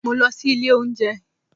Mo lọ sí ilé óúnjẹ